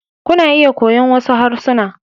Kuna iya koyon wasu harsuna.